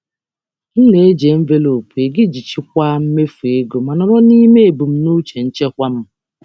um M na-eji envelopu ego iji chịkwaa mmefu ma nọrọ n'ime ebumnuche nchekwa m. um